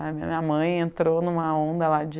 A minha mãe entrou em uma onda lá de...